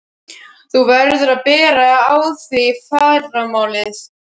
Þú verður að bera á þig í fyrramálið.